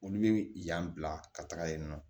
Olu bɛ yan bila ka taga yen nɔ